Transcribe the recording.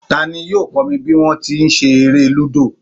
Ta ní yóò kó mi bí wọn ti ń ṣe eré Lúdò.